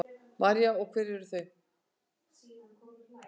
María: Og hver eru þau?